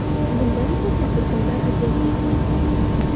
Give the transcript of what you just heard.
Bundan esa tadbirkorlar aziyat chekmoqda.